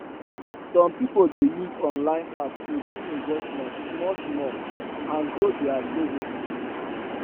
some people dey use online app to do investment smallsmall and grow their savings